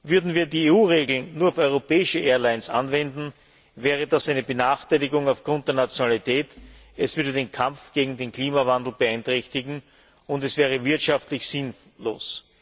Würden wir die EU Regeln nur auf europäische Airlines anwenden, wäre das eine Benachteiligung aufgrund der Nationalität, es würde den Kampf gegen den Klimawandel beeinträchtigen, und es wäre wirtschaftlich sinnlos.